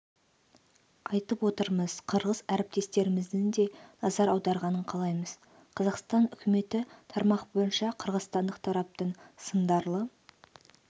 айтып отырмыз қырғыз әріптестеріміздің де назар аударғанын қалаймыз қазақстан үкіметі тармақ бойынша қырғызстандық тараптың сындарлы